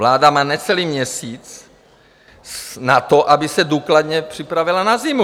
Vláda má necelý měsíc na to, aby se důkladně připravila na zimu.